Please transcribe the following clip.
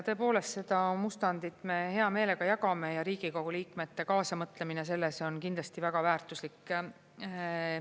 Tõepoolest, seda mustandit me hea meelega jagame ja Riigikogu liikmete kaasamõtlemine selles on kindlasti väga väärtuslik.